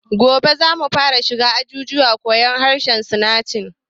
Gobe zamu fara shiga ajin koyan harshen sinanci